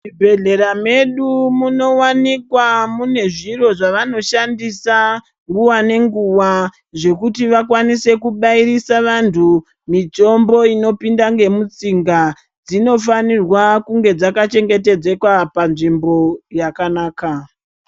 Zvibhedhlera medu munowanikwa mune zviro zvavanoshandisa nguwa nenguwa zvekuti vakwanise kubairisa vantu mitombo inopinda ngemutsinga zvinofarwa kunge dzaka chengetedzeka panzvimbo yakanaka.